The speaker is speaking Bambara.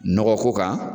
Nɔgɔ ko kan